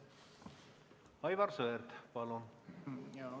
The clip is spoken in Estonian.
Aivar Sõerd, palun!